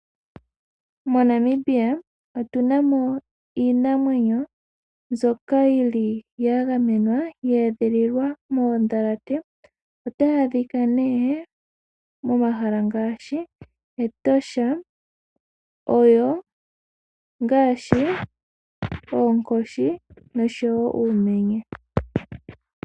MoNamibia otuna iinamwenyo mbyoka yili yagamenwa, yeedhililwa moodhalate otayi adhika nee momahala ngaashi Etosha, oyo ongaashi oonkoshi nosho woo uumenye.